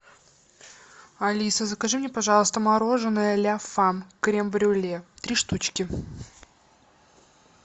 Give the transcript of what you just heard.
алиса закажи мне пожалуйста мороженое ля фам крем брюле три штучки